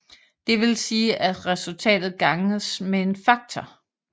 Det vil sige at resultatet ganges med en faktor